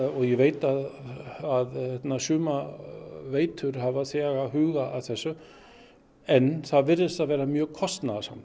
og ég veit að sumar veitur hafa þegar hugað að þessu en það virðist vera mjög kostnaðarsamt